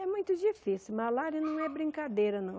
É muito difícil, malária não é brincadeira não.